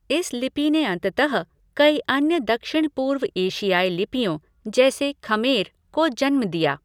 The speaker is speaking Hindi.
इस लिपि ने अंततः कई अन्य दक्षिण पूर्व एशियाई लिपियों जैसे खमेर को जन्म दिया।